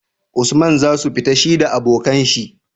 usman zasu fita shida abokan shi?